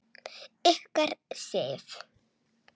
Ykkar, Sif.